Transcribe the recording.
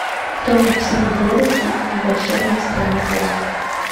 кто написал дороти и волшебник в стране оз